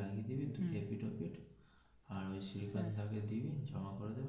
লাগিয়ে দিবি এপিঠ ওপিঠ আর ওই থাকলে দিবি জমা করে,